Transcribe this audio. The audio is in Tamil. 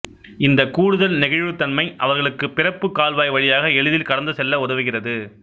இந்த கூடுதல் நெகிழ்வுத்தன்மை அவர்களுக்கு பிறப்பு கால்வாய் வழியாக எளிதில் கடந்து செல்ல உதவுகிறது